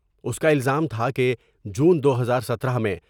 اس کا الزام تھا کہ جون دو ہزار ستارہ میں ۔